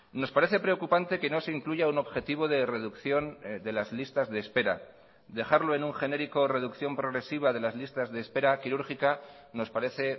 nos parece preocupante que no se incluya un objetivo de reducción de las listas de espera dejarlo en un genérico reducción progresiva de las listas de espera quirúrgica nos parece